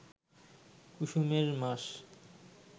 কুসুমের মাস